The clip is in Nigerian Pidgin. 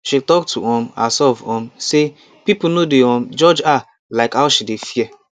she talk to um herself um say people no dey um judge her like how she dey fear